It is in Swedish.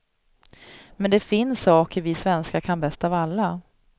Men det finns saker vi svenskar kan bäst av alla.